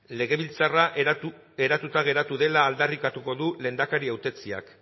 legebiltzarra eratuta geratu dela aldarrikatuko du lehendakari hautetsiak